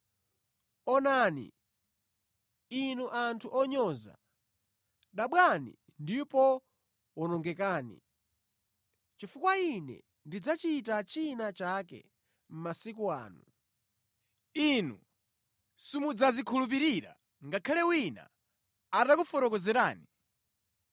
“ ‘Onani, inu anthu onyoza, dabwani ndipo wonongekani, chifukwa ine ndidzachita china chake mʼmasiku anu, inu simudzazikhulupirira ngakhale wina atakufotokozerani!’ ”